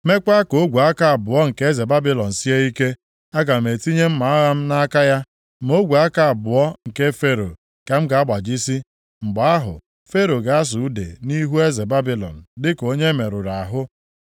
meekwa ka ogwe aka abụọ nke eze Babilọn sie ike. Aga m etinye mma agha m nʼaka ya, ma ogwe aka abụọ nke Fero ka m ga-agbajisi. Mgbe ahụ, Fero ga-asụ ude nʼihu eze Babilọn dịka onye e merụrụ ahụ.